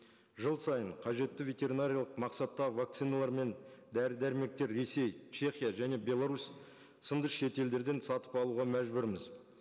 жыл сайын қажетті ветеринариялық мақсатта вакциналар мен дәрі дәрмектер ресей чехия және беларусь сынды шет елдерден сатып алуға мәжбүрміз